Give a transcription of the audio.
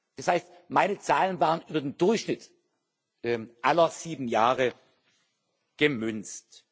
Das heißt, meine Zahlen waren über den Durchschnitt aller sieben Jahre gemünzt.